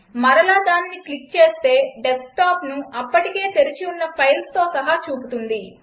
మరలా దానిని క్లిక్ చేస్తే డెస్క్టాప్ను అప్పటికే తెరచి ఉన్న ఫైల్స్తో సహా చూపుతుంది